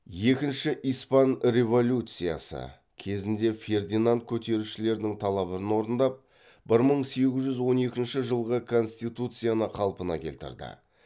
екінші испан революциясы кезінде фердинанд көтерілісшілердің талабын орындап бір мың сегіз жүз он екінші жылғы конституцияны қалпына келтірді